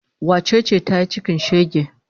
Wace ce ta yi cikin shege?